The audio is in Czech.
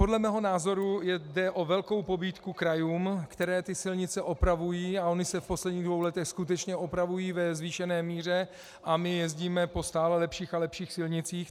Podle mého názoru jde o velkou pobídku krajům, které ty silnice opravují, a ony se v posledních dvou letech skutečně opravují ve zvýšené míře a my jezdíme po stále lepších a lepších silnicích.